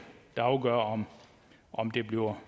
der afgør om om det bliver